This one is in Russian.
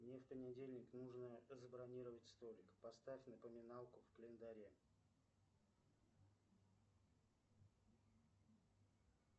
мне в понедельник нужно забронировать столик поставь напоминалку в календаре